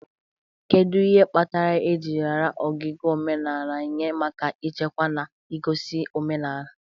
Kedu ihe kpatara eji raara ogige omenala nye maka ichekwa na igosi omenala?